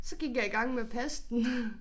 Så gik jeg i gang med at passe den